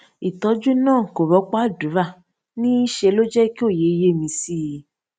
ìtójú náà kò rópò àdúrà ní í ṣe ló jẹ kí òye yé mi sí i